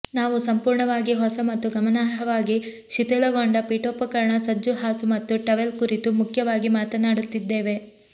ನಾವು ಸಂಪೂರ್ಣವಾಗಿ ಹೊಸ ಮತ್ತು ಗಮನಾರ್ಹವಾಗಿ ಶಿಥಿಲಗೊಂಡ ಪೀಠೋಪಕರಣ ಸಜ್ಜು ಹಾಸು ಮತ್ತು ಟವೆಲ್ ಕುರಿತು ಮುಖ್ಯವಾಗಿ ಮಾತನಾಡುತ್ತಿದ್ದೇವೆ